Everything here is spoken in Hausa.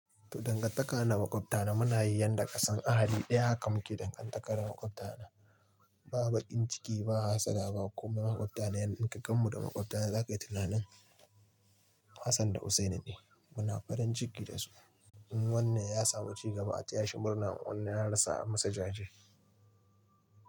To dangantaka na da maƙwabta na muna yi yanda ƙasan ahali ɗaya haka muke dangantakar mu da maƙwabta. Ba baƙin ciki ba, ba hassada ba. Kuma maƙwabta na inka gan mu da maƙwabta zaka yi tunanin Hassan da Hussaini ne. Muna farin ciki da su. In wannan ya samu cigaba a taya shi murna, in wannan ya rasa a masa jaje.